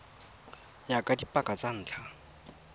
ya ka dipaka tsa ntlha